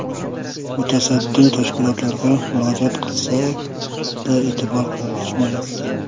Mutasaddi tashkilotlarga murojaat qilsak-da, e’tibor qaratishmayapti.